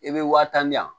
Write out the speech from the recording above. I bɛ wa tan di yan